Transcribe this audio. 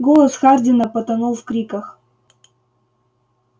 голос хардина потонул в криках